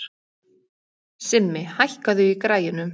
Simmi, hækkaðu í græjunum.